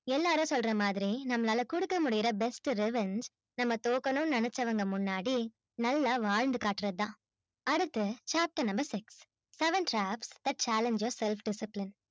எல்லாரும் சொல்ற மாதிரி நம்மளால கொடுக்க முடிய best results நம்ம தோக்கணும்னு நெனச்சவங்க முன்னாடி நல்லா வாழ்ந்துக்காற்றது தான் அடுத்து chapter number six seven draft that challenges self discipline